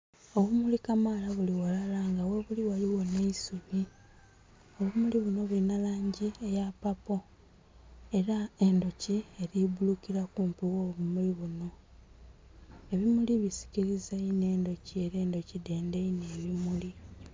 Obumuli kamaala buli ghalala nga ghebuli ghaligho nh'eisubi. Obumuli bunho bulinha langi eya papo era endhuki eli bbuulukila kumpi gho bumuli bunho. Ebimuli bisikiliza inho endhuki ela endhuki dhendha inho ebimuli.